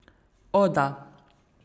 O, da.